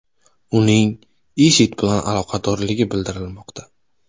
Uning IShID bilan aloqadorligi bildirilmoqda.